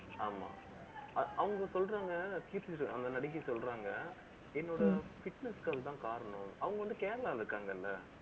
ஆமா அவங்க சொல்றாங்க, கீர்த்தி சுரேஷ் அந்த நடிகை சொல்றாங்க. என்னோட fitness க்கு அதான் காரணம். அவங்க வந்து, Kerala ல இருக்காங்கல்ல